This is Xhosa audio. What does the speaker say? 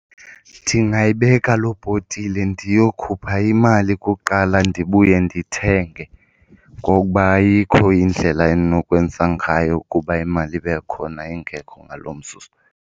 Ndingayibeka loo bhotile ndiyokhupha imali kuqala ndibuye ndithenge ngokuba ayikho indlela endinokwenza ngayo ukuba imali ibe khona ingekho ngalo mzuzu.